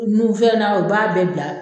Nu fɛn na o b'a bɛɛ bila